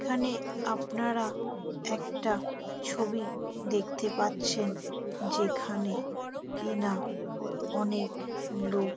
এখানে আপনারা একটা ছবি দেখতে পাচ্ছেন | যেখানে কিনা অনেক লোক।